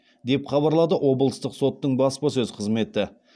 деп хабарлады облыстық соттың баспасөз қызметі